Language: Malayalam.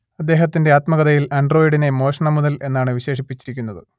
അദ്ദേഹത്തിന്റെ ആത്മകഥയിൽ ആൻഡ്രോയിഡിനെ മോഷണ മുതൽ എന്നാണ് വിശേഷിപ്പിച്ചിരിക്കുന്നത്